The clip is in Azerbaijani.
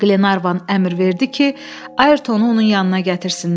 Qlenarvan əmr verdi ki, Ayrtonu onun yanına gətirsinlər.